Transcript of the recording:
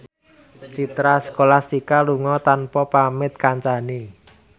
Citra Scholastika lunga tanpa pamit kancane